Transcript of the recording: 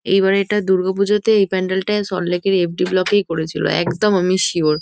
এইবার এটা দুর্গাপুজোতে এই প্যান্ডেল -টা সল্টলেকের এফ.ডি ব্লক -এই করেছিল। একদম আমি সিওর ।